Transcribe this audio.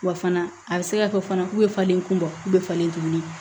Wa fana a bɛ se ka kɛ fana k'u bɛ falen kun bɔ k'u bɛ falen tuguni